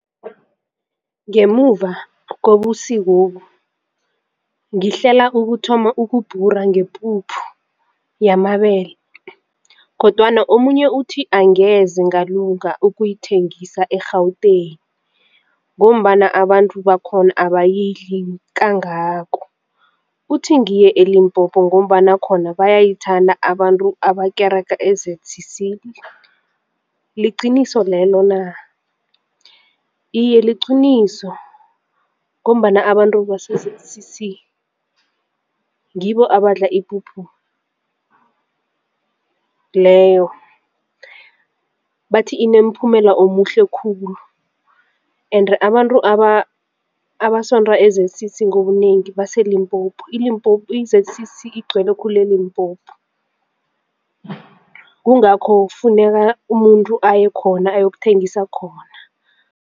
Ngemuva kobusikobu ngihlela ukuthoma ukubhura ngepuphu yamabele kodwana omunye uthi angeze ngalunga ukuyithengisa e-Gauteng ngombana abantu bakhona abayidli kangako. Uthi ngiye eLimpopo ngombana khona bayayithanda abantu abakerega e-ZCC, liqiniso lelo na? Iye, liqiniso ngombana abantu base-ZCC ngibo abadla ipuphu leyo bathi inemphumela omuhle khulu ende abantu abasonta e-ZCC ngobunengi baseLimpopi. I-ZCC igcwele khulu eLimpopo. Kungakho kufuneka umuntu ayekhona ayokuthengisa khona.